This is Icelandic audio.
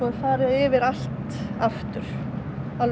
farið yfir allt aftur það er